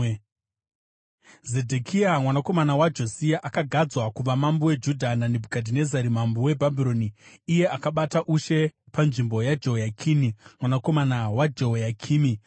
Zedhekia mwanakomana waJosia akagadzwa kuva mambo weJudha naNebhukadhinezari mambo weBhabhironi; iye akabata ushe panzvimbo yaJehoyakini mwanakomana waJehoyakimi.